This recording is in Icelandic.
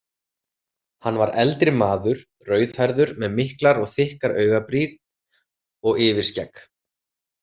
Hann var eldri maður, rauðhærður með miklar og þykkar augabrýn og yfirskegg.